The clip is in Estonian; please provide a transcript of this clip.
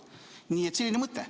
Nii et selline mõte.